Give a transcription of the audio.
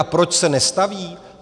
A proč se nestaví?